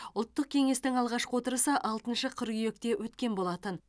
ұлттық кеңестің алғашқы отырысы алтыншы қыркүйекте өткен болатын